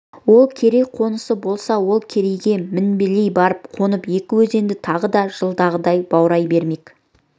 ол керей қонысы болса сол керейге мінбелей барып қонып екі өзенді тағы да жылдағыдай баурай бермек